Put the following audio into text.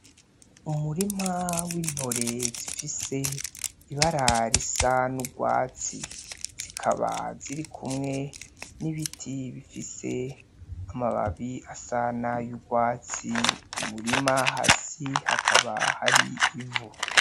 Umurima w'intore zifise ibara risa n'urwatsi zikaba ziri kumwe n'ibiti bifise amababi asa nayurwatsi, umurima hasi hakaba hari ivu.